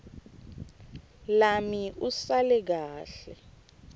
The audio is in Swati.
lami usale kahle